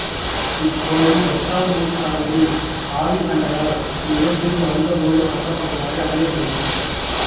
இக்கோயில் எட்டாம் நூற்றாண்டில் ஆதி சங்கரர் இவ்விடத்திற்கு வந்தபோது கட்டப்பட்டதாக அறியப்படுகிறது